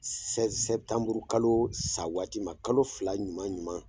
kalo sa waati ma kalo fila ɲuman ɲuman.